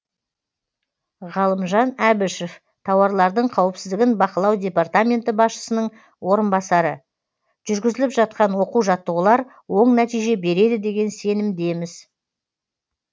ғалымжан әбішов тауарлардың қауіпсіздігін бақылау департаменті басшысының орынбасары жүргізіліп жатқан оқу жаттығулар оң нәтиже береді деген сенімдеміз